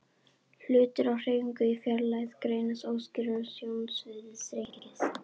Hlutir á hreyfingu í fjarlægð greinast óskýrar og sjónsviðið þrengist.